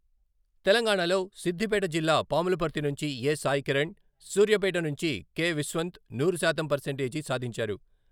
తెలంగాణలో సిద్ధిపేట జిల్లా పాములపర్తి నుంచి ఎ. సాయికిరణ్, సూర్యాపేట నుంచి కె.విశ్వంత్ నూరు శాతం పర్సేంటేజీ సాధించారు.